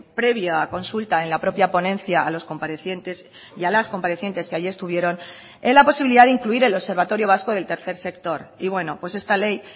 previa consulta en la propia ponencia a los comparecientes y a las comparecientes que ahí estuvieron en la posibilidad de incluir el observatorio vasco del tercer sector y bueno pues esta ley